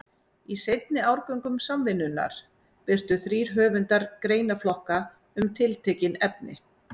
Í seinni árgöngum Samvinnunnar birtu þrír höfundar greinaflokka um tiltekin efni.